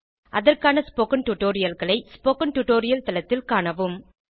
அதற்கான ஸ்போகன் டுடோரியல்களை spoken tutorial தளத்தில் காணவும்